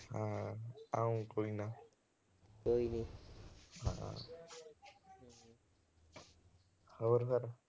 ਆਵਾਂਗੇ, ਕੋਈ ਨਾ। ਹੋਰ ਫਿਰ।